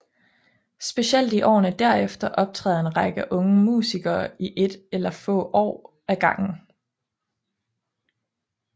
Specielt i årene derefter optræder en række unge musikere i ét eller få år ad gangen